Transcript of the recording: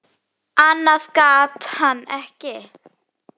Annað gat hann ekki.